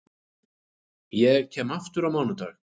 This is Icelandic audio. Ég kem aftur á mánudag.